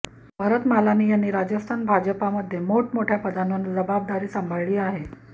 भरत मालानी यांनी राजस्थान भाजपामध्ये मोठमोठ्या पदांवर जबाबदारी सांभाळली आहे